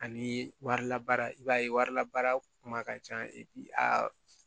Ani warilabaara i b'a ye warilabaara kuma ca a